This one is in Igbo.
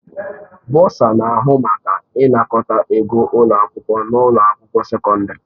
Bọsa na-ahụ maka ịnakọta ego ụlọ akwụkwọ na ụlọ akwụkwọ sekọndrị.